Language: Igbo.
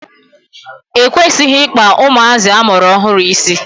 E kwesịghị Ị kpa ụmụazị amụrụ ọhụrụ isi.